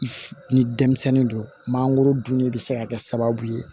Ni denmisɛnnin don mangoro dunni bɛ se ka kɛ sababu ye